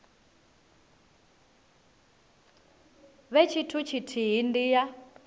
vhe tshithu tshithihi ndi ya